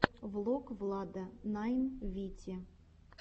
влог влада найн вити